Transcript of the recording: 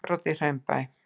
Innbrot í Hraunbæ